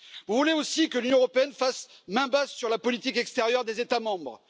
Vous voulez aussi que l'Union européenne fasse main basse sur la politique extérieure des États membres.